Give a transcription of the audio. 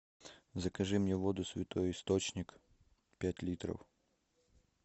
закажи мне воду святой источник пять литров